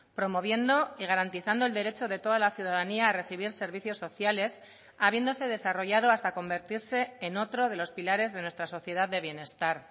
promoviendo y garantizando el derecho de toda la ciudadanía a recibir servicios sociales habiéndose desarrollado hasta convertirse en otro de los pilares de nuestra sociedad de bienestar